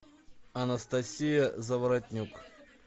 анастасия заворотнюк